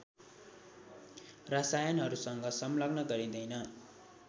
रसायनहरूसँग संलग्न गरिँदैन